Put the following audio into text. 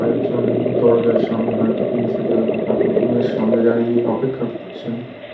কয়েকজন দরজার সামনে হয়তো প্রিন্সিপাল বা কারোর রুম -এর সামনে দাঁড়িয়ে অপেক্ষা করছেন।